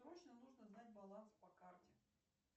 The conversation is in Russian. срочно нужно знать баланс по карте